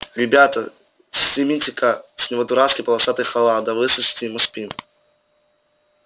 ребята сымите-ка с него дурацкий полосатый халат да выстрочите ему спину